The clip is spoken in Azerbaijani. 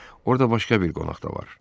Orda başqa bir qonaq da var.